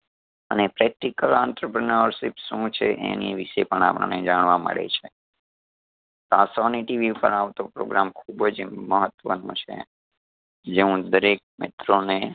અને practical entrepreneurship શું છે? એની વિષે પણ આપણને જાણવા મળે છે . આ sony tv પર આવતો program ખૂબ જ મહત્વનો છે જે હું દરેક મિત્રો ને